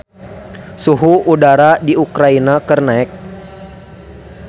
Suhu udara di Ukraina keur naek